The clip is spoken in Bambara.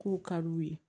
K'u ka d'u ye